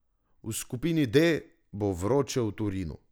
V skupini D bo vroče v Torinu.